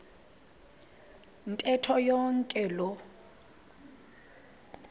ntetho yonke loo